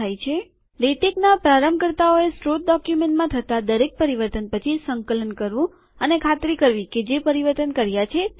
લેટેકના પ્રારંભકર્તાઓએ સ્રોત ડોક્યુમેન્ટમાં થતા દરેક પરિવર્તન પછી સંકલન કરવું અને ખાતરી કરવી કે જે પરિવર્તન કર્યા છે તે યોગ્ય છે